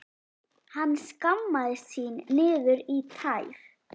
Hann skammaðist sín niður í tær.